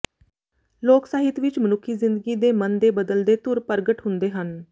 ਲੋਕ ਸਾਹਿਤ ਵਿੱਚ ਮਨੁੱਖੀ ਜ਼ਿੰਦਗੀ ਦੇ ਮਨ ਦੇ ਬਦਲਦੇ ਧੁਰ ਪ੍ਰਗਟ ਹੁੰਦੇ ਹਨ